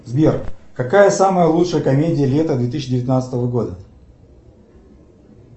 сбер какая самая лучшая комедия лета две тысячи девятнадцатого года